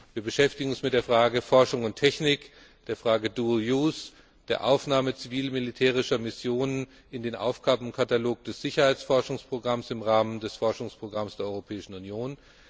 Wir beschäftigen uns mit der Frage Forschung und Technik, der Frage dual use der Aufnahme zivil militärischer Missionen in den Aufgabenkatalog des Sicherheitsforschungsprogramms im Rahmen des Forschungsprogramms der Europäischen Union.